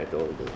Ağda şəhid oldu.